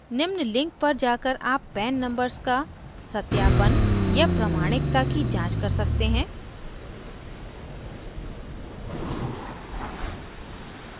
निम्न link पर जाकर आप pan numbers का सत्यापन या प्रमाणिकता की जाँच कर सकते हैं